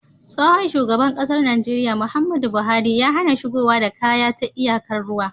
tsohon shugaban ƙasar Nigeria Muhammadu buhari ya HAna shigowa da kaya ta iyakar ruwa